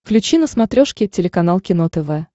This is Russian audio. включи на смотрешке телеканал кино тв